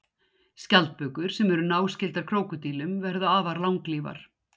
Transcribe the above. Skjaldbökur sem eru náskyldar krókódílum verða afar langlífar.